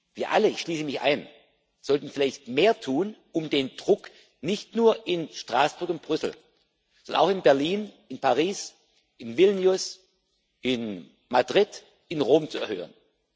Wir alle ich schließe mich ein sollten vielleicht mehr tun, um den Druck nicht nur in Straßburg und Brüssel, sondern auch in Berlin, in Paris, in Vilnius, in Madrid, in Rom zu erhöhen.